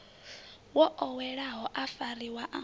wo oweleaho a fariwa a